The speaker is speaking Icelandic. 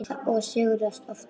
Og sigrar oftast.